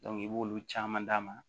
i b'olu caman d'a ma